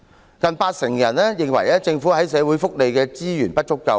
有近八成受訪者認為政府在社會福利上投放的資源不足夠。